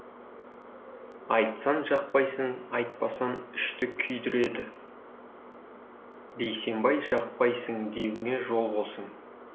айтсаң жақпайсың айтпасаң ішті күйдіреді бейсенбай жақпайсың деуіңе жол болсын